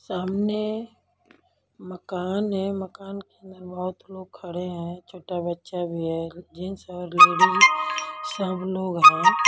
सामने मकान है मकान के अंदर बहुत लोग खड़े हैं छोटा बच्चा भी है जेंट्स और लेडिस सब लोग हैं।